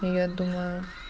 я думаю